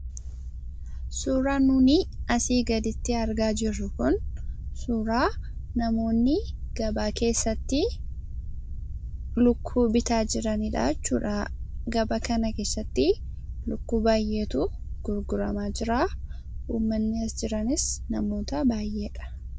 Suuraan nun asii gaditti argaa jirru kun, suuraa namoonni gabaa keessatti lukkuu bitaa jiranidhaa jechuudha. Gabaa kana keessatti lukkuu baayyeetu gurguramaa jira. Uummanni as jiranis namoota baayyeedha.